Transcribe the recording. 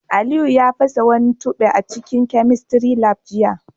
Aliyu ya fasa wani tube a cikin chemistry lab jiya